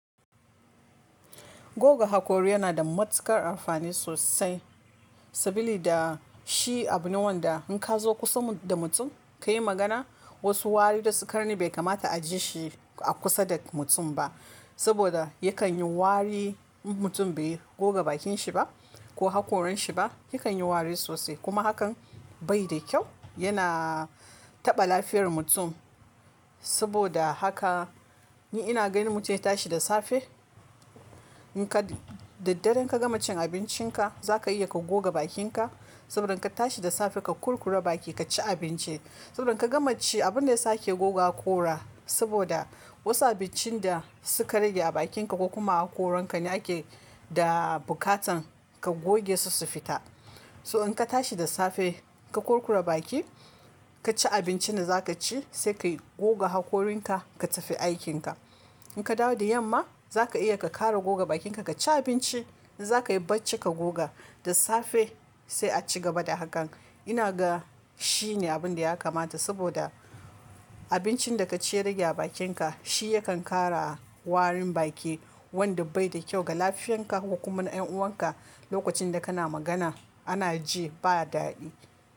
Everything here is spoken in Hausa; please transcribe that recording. Goga hakori yana da matuƙar amfani sosai. Saboda shi abu ne wanda in ka zo kusa da mutum ka yi magana, wasu wari da su ka rani bai kamata a ji shi a kusa da mutum ba. Saboda yakan yi wari in mutum bai goga bakin shi ba ko hakorin shi ba, yakan yi wari sosai kuma hakan bai da kyau. Yana taɓa lafiyar mutum. Saboda haka, ni ina ganin mutum ya tashi da safe, in ka daddare ka gama cin abincin ka, za ka iya ka goga bakin ka. Saboda in ka tashi da safe ka kurkura baki ka ci abinci. Saboda in ka gama ci, abun da ya sake goga hakora saboda wasu abincin da suka rage a bakin ka ko kuma a hakorin ka ne ake, da bukatan ka goge su su fita. So in ka tashi da safe ka kurkura baki, ka ci abincin da za ka ci, sai ka goga hakorin ka, ka tafi aikin ka. In ka dawo da yamma, za ka iya ka ƙara goga bakin ka, ka ci abinci, in za ka yi bacci ka goga da safe sai a ci gaba da hakan. Ina ga shi ne abun da ya kamata saboda abincin da ka ci ya rage a bakin ka, shi yakan ƙara warin baki wanda bai da kyau ga lafiyar ka ko kuma na ƴan'uwan ka. Lokacin da kana magana ana ji ba daɗi.